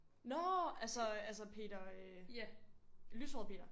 Nå altså altså Peter øh lyshåret Peter